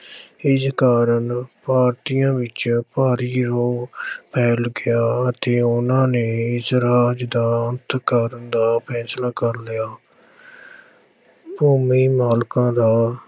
ਇਸ ਕਾਰਨ ਭਾਰਤੀਆਂ ਵਿੱਚ ਭਾਰੀ ਰੋਹ ਫੈਲ ਗਿਆ ਅਤੇ ਉਹਨਾਂ ਨੇ ਇਸ ਰਾਜ ਦਾ ਅੰਤ ਕਰਨ ਦਾ ਫੈਸਲਾ ਕਰ ਲਿਆ ਭੂਮੀ ਮਾਲਕਾਂ ਦਾ